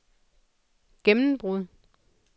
gennembrud